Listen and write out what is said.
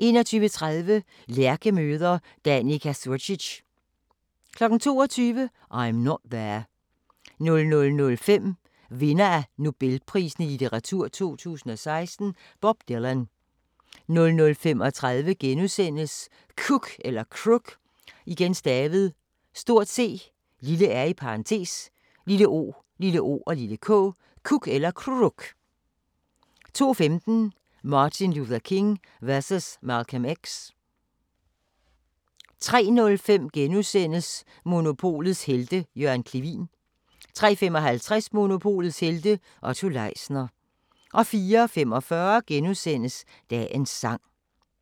21:30: Lærke møder Danica Curcic 22:00: I'm Not There 00:05: Vinder af Nobelprisen i litteratur 2016: Bob Dylan 00:35: C(r)ook * 02:15: Martin Luther King versus Malcolm X 03:05: Monopolets Helte – Jørgen Clevin * 03:55: Monopolets helte - Otto Leisner 04:45: Dagens sang *